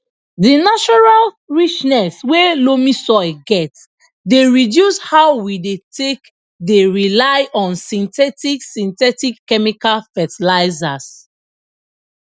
di natural richness wey loamy soil get dey reduce how we dey take dey rely on synthetic synthetic chemical fetilizers